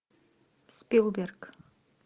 спилберг